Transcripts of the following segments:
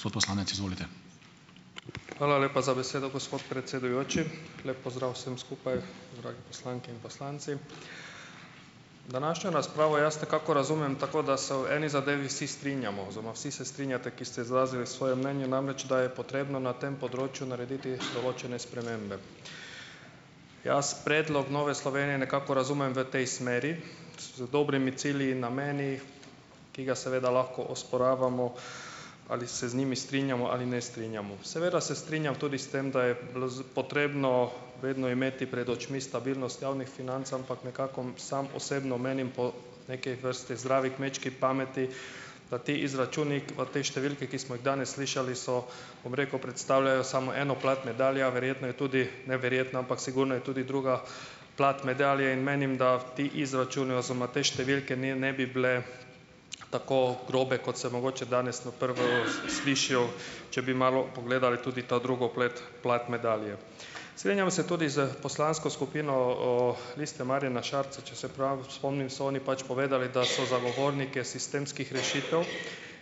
Hvala lepa za besedo, gospod predsedujoči. Lep pozdrav vsem skupaj, drage poslanke in poslanci! Današnjo razpravo jaz nekako razumem tako, da se v eni zadevi vsi strinjamo oziroma vsi se strinjate, ki ste izrazili svoja mnenja, namreč, da je treba na tem področju narediti določene spremembe. Jaz predlog Nove Slovenije nekako razumem v tej smeri, z dobrimi cilji in nameni, ki ga seveda lahko osporavamo, ali se z njimi strinjamo ali ne strinjamo. Seveda se strinjam tudi s tem, da je bilo z potrebno vedno imeti pred očmi stabilnost javnih financ, ampak nekako, sam osebno menim, po neki vrsti zdrave kmečke pameti, da ti izračuni pa te številke, ki smo jih danes slišali, so, bom rekel, predstavljajo samo eno plat medalje, a verjetno je tudi, ne verjetno, ampak sigurno je tudi druga plat medalje, in menim, da ti izračuni oziroma te številke, ne, ne bi bile tako grobe, kot se mogoče danes na prvo slišijo, če bi malo pogledali tudi ta drugo pleti, plat medalje. Strinjam se tudi s poslansko skupino, Liste Marjana Šarca. Če se prav spomnim, so oni pač povedali, da so zagovorniki sistemskih rešitev.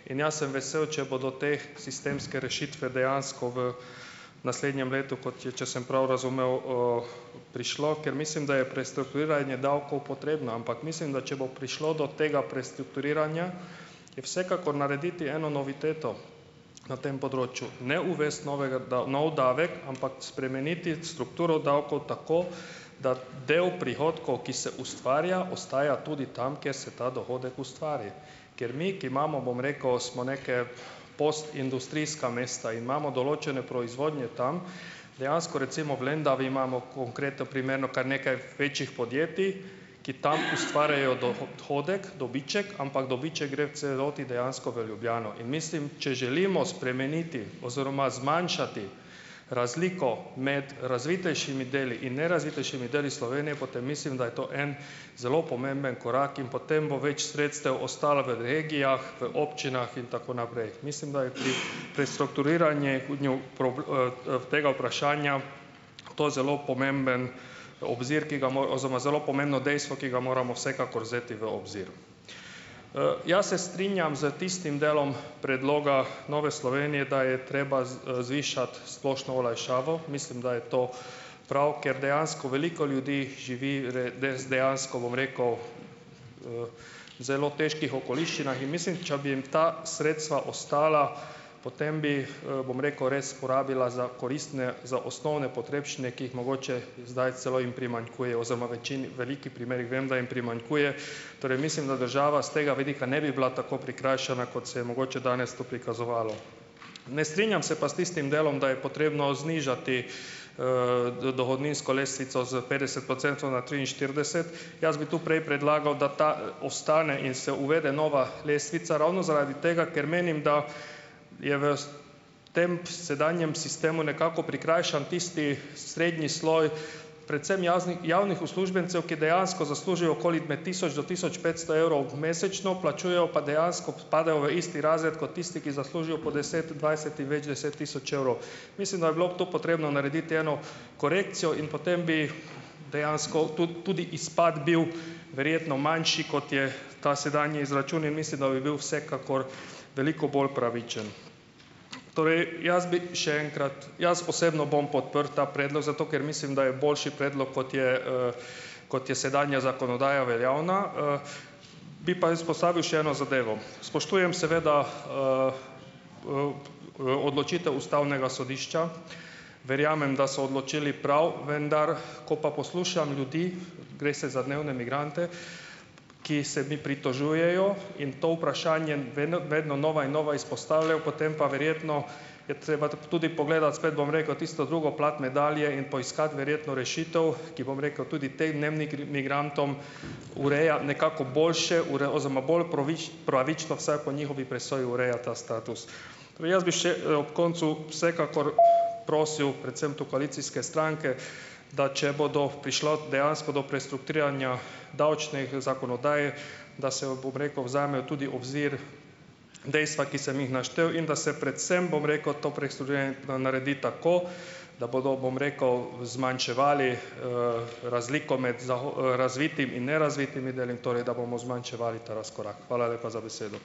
In jaz sem vesel, če bodo te sistemske rešitve dejansko v naslednjem letu, kot je, če sem prav razumel, prišlo, ker mislim, da je prestrukturiranje davkov potrebno. Ampak mislim, da če bo prišlo do tega prestrukturiranja, je vsekakor narediti eno noviteto na tem področju - ne uvesti novega nov davek, ampak spremeniti strukturo davkov tako, da del prihodkov, ki se ustvarja, ostaja tudi tam, kjer se ta dohodek ustvari. Ker mi, ki imamo, bom rekel, smo neke postindustrijska mesta, imamo določene proizvodnje tam. Dejansko, recimo, v Lendavi imamo, konkreten primer, no, kar nekaj večjih podjetij, ki tam ustvarjajo dohodek, dobiček, ampak dobiček gre v celoti dejansko v Ljubljano. In mislim, če želimo spremeniti oziroma zmanjšati razliko med razvitejšimi deli in nerazvitejšimi deli Slovenije, potem mislim, da je to en zelo pomemben korak in potem bo več sredstev ostalo v regijah, v občinah in tako naprej. Mislim, da je pri, pri strukturiranje tega vprašanja to zelo pomemben obzir, ki ga oziroma zelo pomembno dejstvo, ki ga moramo vsekakor vzeti v obzir. jaz se strinjam s tistim delom predloga Nove Slovenije, da je treba zvišati splošno olajšavo. Mislim, da je to prav, ker dejansko veliko ljudi živi res dejansko, bom rekel, zelo težkih okoliščinah. In mislim, če bi jim ta sredstva ostala, potem bi jih, bom rekel, res porabila za koristne, za osnovne potrebščine, ki jih mogoče zdaj celo jim primanjkuje oziroma večini veliki primerih vem, da jim primanjkuje. Torej mislim, da država s tega vidika ne bi bila tako prikrajšana, kot se je mogoče danes tu prikazovalo. Ne strinjam se pa s tistim delom, da je potrebno znižati, dohodninsko lestvico s petdeset procentov na triinštirideset. Jaz bi tu prej predlagal, da ta, ostane in se uvede nova lestvica, ravno zaradi tega, ker menim, da je v tem sedanjem sistemu nekako prikrajšan tisti srednji sloj predvsem jaznih javnih uslužbencev, ki dejansko zaslužijo okoli med tisoč do tisoč petsto evrov mesečno, plačujejo pa dejansko, padejo v isti razred kot tisti, ki zaslužijo po deset, dvajset in več deset tisoč evrov. Mislim, da bi bilo to potrebno narediti eno korekcijo, in potem bi dejansko tudi izpad bil verjetno manjši, kot je ta sedanji izračun, in mislim, da bi bil vsekakor veliko bolj pravičen. Torej, jaz bi še enkrat, jaz osebno bom podprl ta predlog, zato, ker mislim, da je boljši predlog, kot je, kot je sedanja zakonodaja veljavna, Bi pa izpostavil še eno zadevo. Seveda spoštujem, odločitev ustavnega sodišča, verjamem, da so odločili prav. Vendar, ko pa poslušam ljudi - gre se za dnevne migrante -, ki se mi pritožujejo in to vprašanje vedno vedno nova in nova izpostavljajo, potem pa verjetno je treba tudi pogledati spet, bom rekel, tudi tisto drugo plat medalje in poiskati verjetno rešitev, ki, bom rekel, tudi potem dnevnim migrantom, ureja nekako boljše oziroma bolj pravično vsaj po njihovi presoji, ureja ta status. Torej jaz bi še, ob koncu vsekakor prosil predvsem tu koalicijske stranke, da če bodo prišla dejansko do prestrukturiranja davčnih zakonodaj, da se, bom rekel, vzamejo tudi obzir dejstva, ki sem jih naštel, in da se predvsem, bom rekel, to prestrukturiranje naredi tako, da bodo, bom rekel, zmanjševali, razliko med razvitim in nerazvitim deli, torej, da bomo zmanjševali ta razkorak. Hvala lepa za besedo.